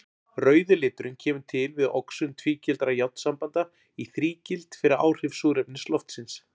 Rauði liturinn kemur til við oxun tvígildra járnsambanda í þrígild fyrir áhrif súrefnis loftsins.